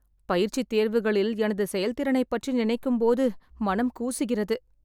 பயிற்சித் தேர்வுகளில் எனது செயல்திறனைப் பற்றி நினைக்கும் பொது மனம் கூசுகிறது